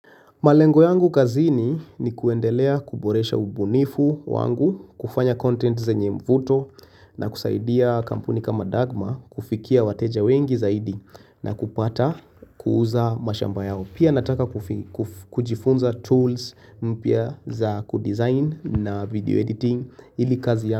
Malengo yangu kazini ni kuendelea kuboresha ubunifu wangu, kufanya content zenye mvuto na kusaidia kampuni kama Dagma kufikia wateja wengi zaidi na kupata kuuza mashamba yao. Pia nataka kujifunza tools mpia za kudesign na video editing ili kazi yangu.